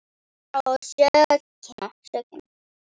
Hver á sökina?